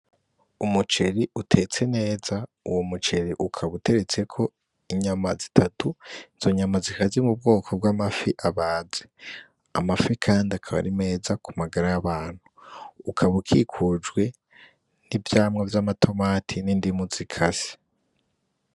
Umuceri utetse neza uwo muceri ukaba uteretseko inyama zitatu, izo nyama zikaba ziri mubwoko bw'amafi abaze. Amafi kandi akaba ari meza kumagara y'abantu. Ukaba ukikujwe n'ivyamwa vy'amatomati n'indimu zikase.